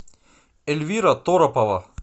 эльвира торопова